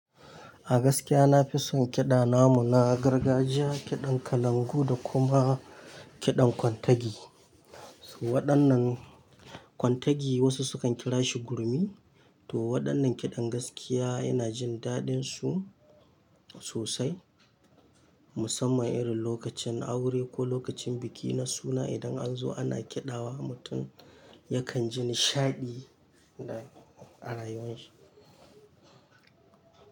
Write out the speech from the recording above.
A gaskiya na fi son kiɗa namu, na gargajiya, kiɗan kalangu da kuma kiɗan kwantagi. Waɗannan kwantagi wasu sukan kira shi gurmi to waɗannan kiɗan gaskiya ina jin daɗinsu sosai musamman irin lokacin aure ko lokacin biki na suna idan an zo ana kiɗawa mutum yakan ji nishaɗi a rayuwar shi.